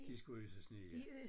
De skulle øse sne ja